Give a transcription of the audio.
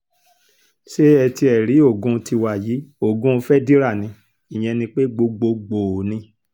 ṣé ẹ tiẹ̀ rí ogún tiwa yìí ogun fedira ní ìyẹn ni pé gbogbogbòó ni